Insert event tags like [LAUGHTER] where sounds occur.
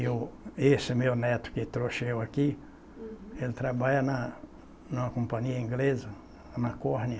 E o, e esse meu neto que trouxe eu aqui, ele trabalha na numa companhia inglesa, na [UNINTELLIGIBLE]